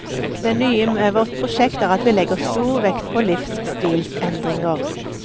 Det nye med vårt prosjekt er at vi legger stor vekt på livsstilsendringer.